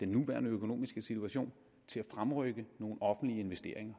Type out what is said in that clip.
den nuværende økonomiske situation til at fremrykke nogle offentlige investeringer